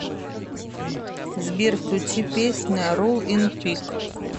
сбер включи песня ролл ин пис